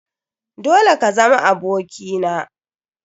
Dole ka zama aboki na!